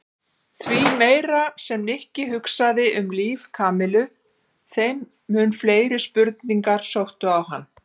Því meira sem Nikki hugsaði um líf Kamillu þeim mun fleiri spurningar sóttu á hann.